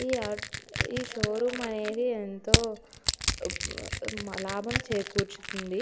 ఈ ఈ షోరూమ్‌ అనేది యెంతో లాభం చేకూరుతుంది.